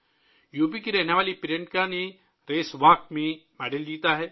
UP کی رہنے والی پرینکا نے ریس واک میں تمغہ جیتا ہے